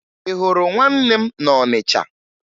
Ị hụrụ nwanne m na Ọnịcha?